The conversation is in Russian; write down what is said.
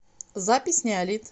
запись неолит